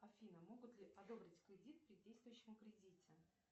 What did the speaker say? афина могут ли одобрить кредит при действующем кредите